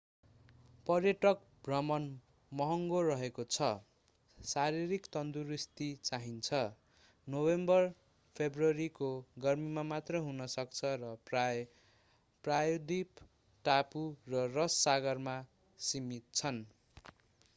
पर्यटक भ्रमण महँगो रहेको छ शारीरिक तन्दुरुस्ती चाहिन्छ नोभेम्बर-फेब्रुअरीको गर्मीमा मात्र हुन सक्छ र प्रायः प्रायद्वीप टापु र रस सागरमा सीमित छन्